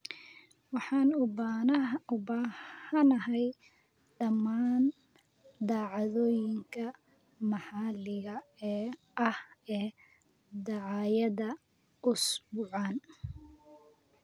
Waxaan u baahanahay dhammaan dhacdooyinka maxalliga ah ee dhacaya usbuucan